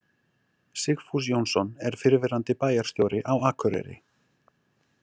Sigfús Jónsson er fyrrverandi bæjarstjóri á Akureyri.